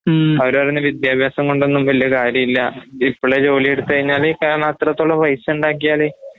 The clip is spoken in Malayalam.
അവരോരുടെ വിദ്യാഭാസംകൊണ്ടൊന്നും വല്യ കാര്യല്ലാ. ഇപ്പളേ ജോലിഎടുത്തുകഴിഞ്ഞാല് കാരണം അത്രത്തോളം പൈസയുണ്ടാക്കിയാല്